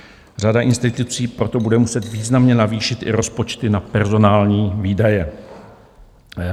Řada institucí proto bude muset významně navýšit i rozpočty na personální výdaje.